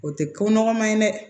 O tɛ ko nɔgɔman ye dɛ